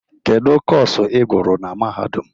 Kedu Kọsu ị gụrụ na mahadum?